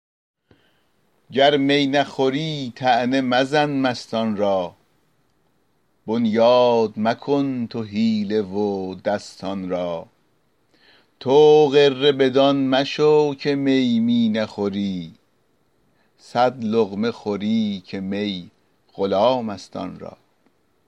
گر می نخوری طعنه مزن مستان را بنیاد مکن تو حیله و دستان را تو غره بدان مشو که می می نخوری صد لقمه خوری که می غلام است آن را